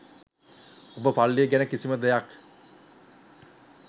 ඔබ පල්ලිය ගැන කිසිම දෙයක්